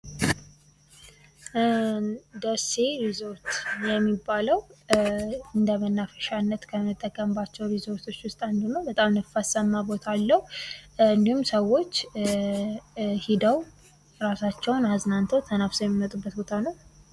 ደሴ ሪዞርት የሚባለው እንደ መናፈሻነት ከምንጠቀምባቸው ሪዞርቶች ውስጥ አንዱ ነው በጣም ነፋሳማ ቦታ አለው እንድሁም ሰዎች ሂደው ራሳቸውን አዝናንተው ተናፍሰው የሚመጡበት ቦታ ነው።